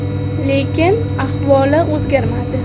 Lekin ahvoli o‘zgarmadi.